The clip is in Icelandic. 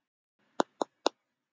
Samúel: Og næsti leikur.